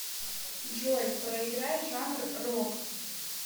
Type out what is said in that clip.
джой проиграй жанр рок